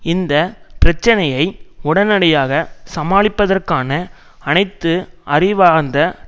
இந்த பிரச்சனையை உடனடியாக சமாளிப்பதற்கான அனைத்து அறிவார்ந்த